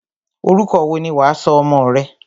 Orúkọ wo ni wà á sọ ọmọ rẹ?